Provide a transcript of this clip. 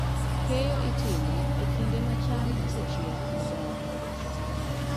Keyo itimo e kinde ma cham osechiek maber.